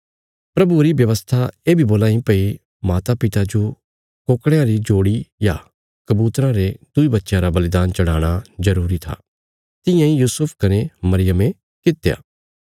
प्रभुये री व्यवस्था ये बी बोलां इ भई मातापिता जो कोकड़यां री जोड़ी या कबूतरां रे दुईं बच्चयां रा बलिदान चढ़ाणा जरूरी था तियां इ यूसुफ कने मरियमे कित्या